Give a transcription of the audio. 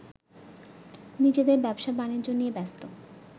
নিজেদের ব্যবসা-বাণিজ্য নিয়ে ব্যস্ত